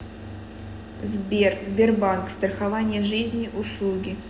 сбер сбербанк страхование жизни услуги